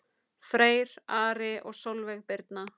Freyr, Ari og Sólveig Birna.